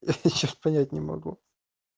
ха ха я что то понять не могу